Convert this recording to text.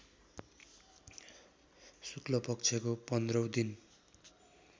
शुक्लपक्षको पन्ध्रौँ दिन